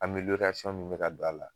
Ameliyoriyasɔn min be ka don a la